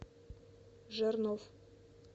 жернов